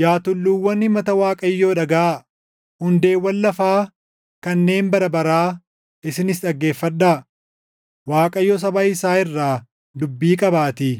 “Yaa tulluuwwan himata Waaqayyoo dhagaʼaa; hundeewwan lafaa kanneen bara baraa isinis dhaggeeffadhaa. Waaqayyo saba isaa irraa dubbii qabaatii;